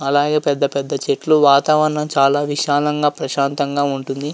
అలాగే పెద్ద పెద్ద చెట్లువాతావరణం చాలా విశాలంగా ప్రశాంతంగా ఉంటుంది.